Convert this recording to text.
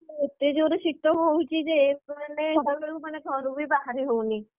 ଏବେ ଏତେ ଜୋରେ ଶୀତ ହଉଛି ଯେ ସେ ମାନେ ତା ମାନେ ଘରୁ ବି ବାହାରି ହଉନି।